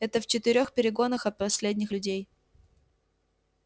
это в четырёх перегонах от последних людей